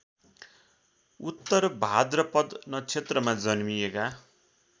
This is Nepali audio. उत्तरभाद्रपद नक्षत्रमा जन्मिएका